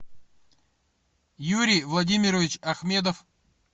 юрий владимирович ахмедов